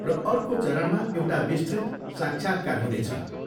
र अर्को चरणमा एउटा विस्तृत साक्षात्कार हुनेछ।